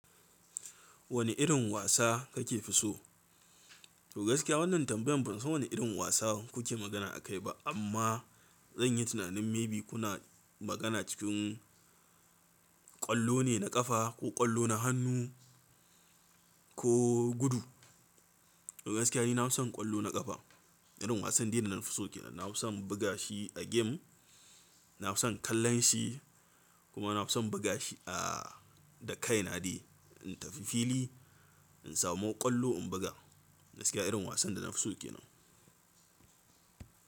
Wane irin wasa kake fi so? To gaskiya wannan tambayan ban san wani irin wasa kuke magana akai ba amma zanyi tunanin maybe kuna magana cikin ƙwallo ne na ƙafa ko ƙwallo na hannu ko gudu. To gaskiya nafison ƙwallo na ƙafa, irin wasan dai da nafiso kenan. Nafison bugashi a game, nafison kallonshi kuma nafisn bugashi da kaina dai, in tafi fili in samu ƙwallo in buga. Gaskiya irin wasan da nafiso kenan.